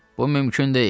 Bu mümkün deyil.